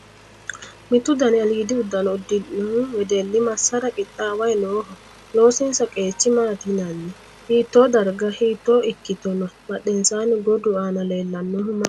Mittu dani aliidi uddano uddidhino wedelli massara qixxaaway nooho? Loosinsa qeecha maati yinanni? Hiittoo darga hiito ikkite no? Badhensaanni gordu aana leelllalnohu maati?